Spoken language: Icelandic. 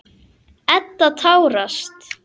Edda tárast.